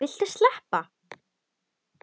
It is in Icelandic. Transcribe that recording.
Viltu sleppa!